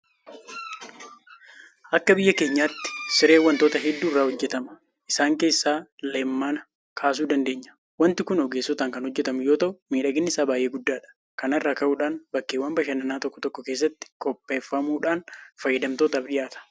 Akka biyya keenyaatti Sireen waantota hedduu irraa hojjetama. Isaan keessaa Leemmana kaasuu dandeenya. Waanti kun ogeessotaan kan hojjetamu yoota'u miidhaginni isaa baay'ee guddaadha. Kana irraa ka'uudhaan bakkeewwan bashannanaa tokko tokko keessatti qopheeffamuudhaan fayyadamtootaaf dhiyaata.